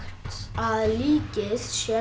að líkið sé